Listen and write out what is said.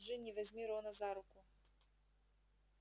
джинни возьми рона за руку